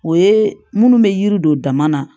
O ye minnu bɛ yiri don dama na